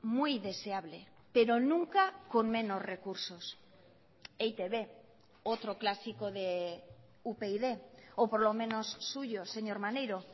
muy deseable pero nunca con menos recursos e i te be otro clásico de upyd o por lo menos suyo señor maneiro